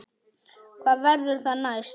Hvað verður það næst?